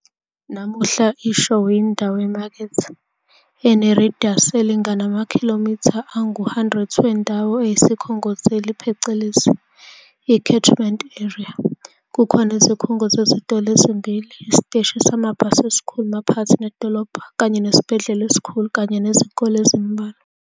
Namuhla iShowe yindawo yemakethe, enerediyasi elingana amakhilomitha angu 100 wendawo eyisikhongozeli phecelezi, icatchment area, kukhona izikhungo zezitolo ezimbili, isiteshi samabhasi esikhulu maphakathi nedolobha, kanye nesibhedlela esikhulu, kanye nezikole ezimbalwa.